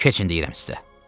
Keçin deyirəm sizə.